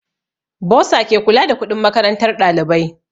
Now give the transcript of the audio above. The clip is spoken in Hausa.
Bursa ke kula da kuɗin makarantar ɗalibai